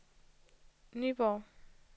Nyborg